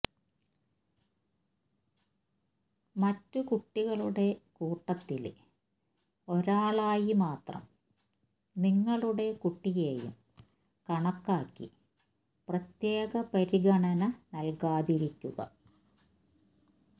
മറ്റു കുട്ടികളുടെ കൂട്ടത്തില് ഒരാളായി മാത്രം നിങ്ങളുടെ കുട്ടിയെയും കണക്കാക്കി പ്രത്യേക പരിഗണന നല്കാതിരിക്കുക